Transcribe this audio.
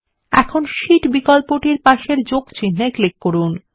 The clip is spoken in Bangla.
এখন শীট বিকল্পটির পাশে যোগ চিন্হে ক্লিক করুন